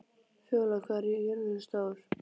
Fjólar, hvað er jörðin stór?